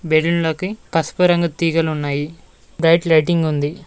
బెలుండ్లకి పసుపు రంగు తీగలు ఉన్నాయి వైట్ లైటింగ్ ఉంది.